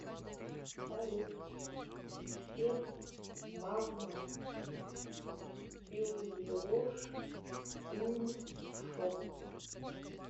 салют с февс мавма пюеош уймшоп